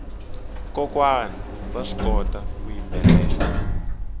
kokwana vaswi kota ku yimbelela